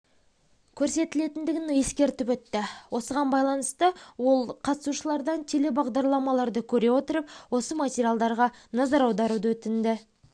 көрсетілетіндігін ескертіп өтті осыған байланысты ол қатысушылардан телебағдарламаларды көре отырып осы материалдарға назар аударуды өтінді